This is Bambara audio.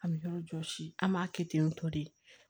An bɛ yɔrɔ jɔsi an b'a kɛ ten tɔ de